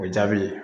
O jaabi